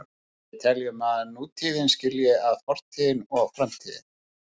Við teljum að nútíðin skilji að fortíð og framtíð.